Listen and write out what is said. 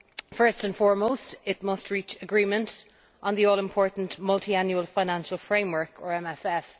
First and foremost it must reach agreement on the all important multiannual financial framework or MFF.